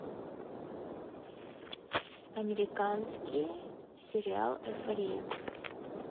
американский сериал эйфория